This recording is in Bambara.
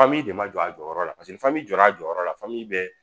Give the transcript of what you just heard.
de ma jɔ a jɔyɔrɔ la jɔ a jɔyɔrɔ la bɛɛ